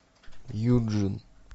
юджин